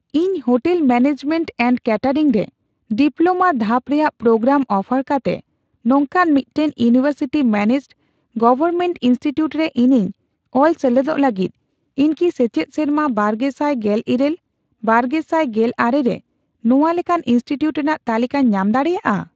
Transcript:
ᱤᱧ hotel management and catering ᱨᱮ diploma ᱫᱷᱟᱯ ᱨᱮᱱᱟᱜ ᱯᱨᱳᱜᱨᱟᱢ ᱚᱯᱷᱟᱨ ᱠᱟᱛᱮ ᱱᱚᱝᱠᱟᱱ ᱢᱤᱫᱴᱟᱝ ᱤᱭᱩᱱᱤᱣᱮᱨᱥᱤᱴᱤ ᱢᱮᱱᱮᱡᱰᱼᱜᱚᱣᱚᱨᱢᱮᱱᱴ ᱤᱱᱥᱴᱤᱴᱤᱭᱩᱴ ᱨᱮ ᱤᱧᱤᱧ ᱚᱞ ᱥᱮᱞᱮᱫᱚᱜ ᱞᱟᱹᱜᱤᱫ, ᱤᱧ ᱠᱤ ᱥᱮᱪᱮᱫ ᱥᱮᱨᱢᱟ ᱵᱟᱨᱜᱮᱥᱟᱭ ᱜᱮᱞᱤᱨᱟᱹᱞ ᱼᱵᱟᱨᱜᱮᱥᱟᱭ ᱜᱮᱞ ᱟᱨᱮ ᱨᱮ ᱱᱚᱣᱟ ᱞᱮᱠᱟᱱ ᱤᱱᱥᱴᱤᱴᱤᱭᱩᱴ ᱨᱮᱱᱟᱜ ᱛᱟᱞᱤᱠᱟᱧ ᱧᱟᱢ ᱫᱟᱲᱮᱭᱟᱜᱼᱟ ?